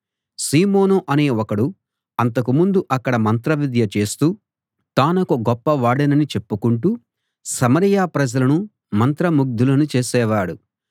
సీమోను అనే ఒకడు అంతకు ముందు అక్కడ మంత్రవిద్య చేస్తూ తానొక గొప్పవాడినని చెప్పుకొంటూ సమరయ ప్రజలను మంత్రముగ్ధులను చేసేవాడు